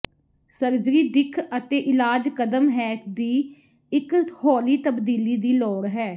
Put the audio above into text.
surgery ਦਿੱਖ ਅਤੇ ਇਲਾਜ ਕਦਮ ਹੈ ਦੀ ਇੱਕ ਹੌਲੀ ਤਬਦੀਲੀ ਦੀ ਲੋੜ ਹੈ